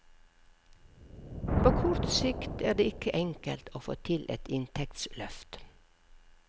På kort sikt er det ikke enkelt å få til et inntektsløft.